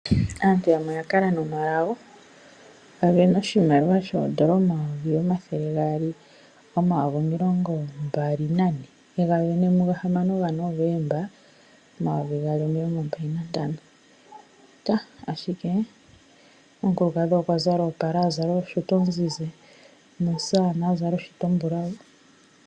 Aantu yamwe oya kala nomalago. A sindana oshimaliwa shooN$ 224 000, e ga sinadana momasiku ga6 gaNovemba 2025. Ashike omukulukadhi okwa zala oopala, a zala oshuta ozizi nomusamane a zala oshuta ombulawu.